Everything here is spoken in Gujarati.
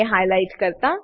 ને હાઈલાઈટ કરતા